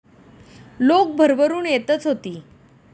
लोक भरभरून येतच होती.